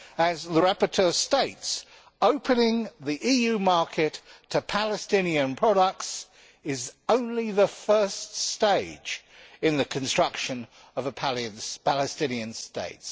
As the rapporteur states, opening the EU market to Palestinian products is only the first stage in the construction of a Palestinian state.